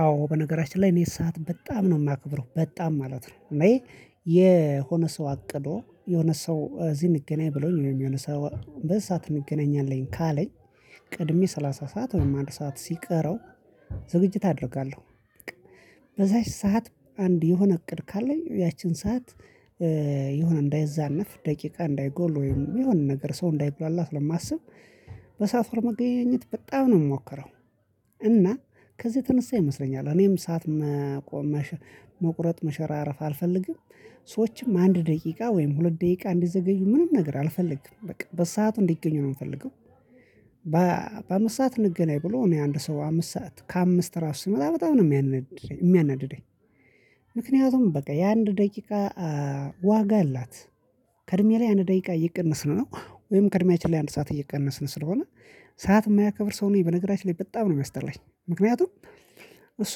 አዎ በነገራችን ላይ እኔ ሰዓት በጣም ነው ማከብረው በጣም ማለት ነው። እኔ የሆነ ሰው አቅዶ የሆነ ሰው እዚህ እንገናኝ ብሎኝ የሆነ ሰው በዚህ ሰዓት እንገናኛለን ካለኝ። ቀድሜ ሰላሳ ሰዓት ወይም አንድ ሰዓት ሲቀረው ዝግጅት አደርጋለሁ። በቃ በዚያች ሰዓት አንድ የሆነ እቅድ ካለኝ ያቺን ሰዓት እ እንዳይዛነፍ ደቂቃ እንዳይጎል የሆነ ነገር ሰው እንዳይጉላላ ስለማስብ በሳፍሮ መገናኘት በጣም ነው የምሞክረው። እና ከዚህ የተነሳ ይመስለኛል እኔም ሰዓት መቆ መሸ መቁረጥም መሸራረፍ አልፈልግም። ሰዎችም አንድ ደቂቃ ወይም ሁለት ደቂቃ እንዲዘገዩ ምንም ነገር አልፈልግም በቃ በሰአቱ እንዲገኙ ነው የምፈልገው። ባኧ በአምስት ሰዓት እንገናኝ ብሎ እኔ አንድ ሰው አምስት ሰዓት ከአምስት ራሱ ሲመጣ በጣም ነው የሚያናድደኝ የሚያናድደኝ። ምክንያቱም በቃ የአንድ ደቂቃ ኧ ዋጋ አላት። ከእድሜ ላይ አንድ ደቂቃ እየቀነስን ነው ወይም ከእድሜያችን ላይ አንድ ሰዓት እየቀነስን ስለሆነ። ሰዓት የማያከብር ሰው እኔ በነገራችን ላይ በጣም ነው የሚያስጠላኝ ምክንያቱም። እሱ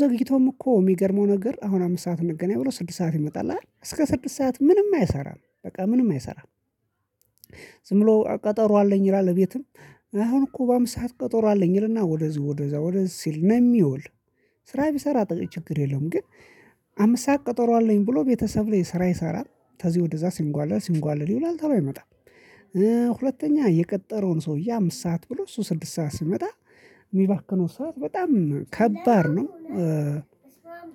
ዘግይቶም እኮ ሚገርመው ነገር አሁን አምስት ሰዓት እንገናኝ ብሎ ስድስት ሰዓት ይመጣል አይደል እስከ ስድስት ሰዓት ምንም አይሰራም በቃ ምንም አይሰራም። ዝም ብሎ ቀጠሮ አለኝ ይላል እቤትም አሁን እኮ በአምስት ሰዓት ቀጠሮ አለኝ ይልና ወደዚህ ወደዛ ወደዚህ ሲል ነው የሚውል። ስራ ቢሰራ ችግር የለውም። ግን አምስት ሰዓት ቀጠሮ አለኝ ብሎ ቤተሰብ ላይ ስራ ይሰራል ተዚ ወደዛ ሲንጓለል ሲንጓለል ይውላል ቶሎ አይመጣም። ሁለተኛ የቀጠረውን ሰውዬ አምስት ሰዓት ብሎ እሱ ስድስት ሰዓት ሲመጣ ሚባክነው ሰዓት በጣም ከባድ ነው። እ